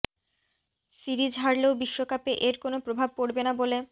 series হারলেও বিশ্বকাপে এর কোনো প্রভাব পড়বে না বলে